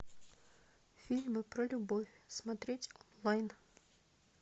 фильмы про любовь смотреть онлайн